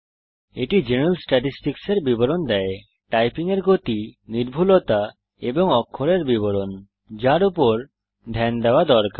এটি general statistics এর বিবরণ দেয় টাইপিং এর গতি নির্ভুলতা এবং অক্ষরের বিবরণ যার উপর ধ্যান দেওয়া দরকার